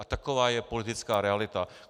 A taková je politická realita.